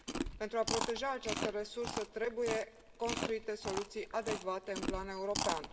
Pentru a proteja această resursă trebuie construite soluții adecvate în plan european.